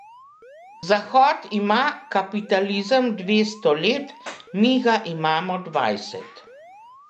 Zahod ima kapitalizem dvesto let, mi ga imamo dvajset.